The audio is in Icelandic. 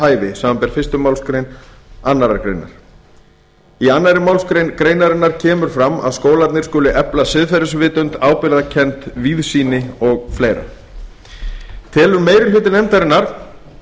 hæfi samanber fyrstu málsgrein annarrar greinar í annarri málsgrein greinarinnar kemur fram að skólarnir skuli efla siðgæðisvitund ábyrgðarkennd víðsýni og fleira telur meiri hluti nefndarinnar